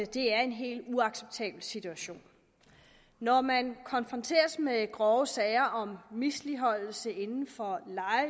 det er en helt uacceptabel situation når man konfronteres med grove sager om misligholdelse inden for